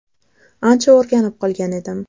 Ancha o‘rganib qolgan edim.